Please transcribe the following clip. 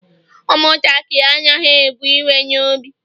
umuntakiri anaghi e bu iwe n'obi